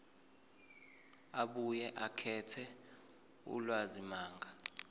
abuye akhethe ulwazimagama